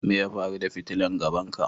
Me ya faru da fitilan gaban ka?